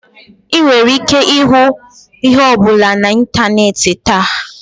Ị nwere ike ịhụ ihe ọ bụla na ịntanetị taa.